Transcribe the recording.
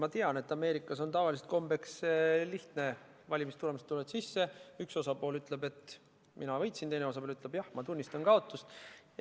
Ma tean, et Ameerikas on tavaliselt kombeks teha lihtsalt: valimistulemused tulevad, üks osapool ütleb, et mina võitsin, teine osapool ütleb, et jah, ma tunnistan kaotust.